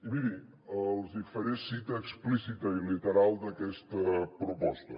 i mirin els hi faré cita explícita i literal d’aquesta proposta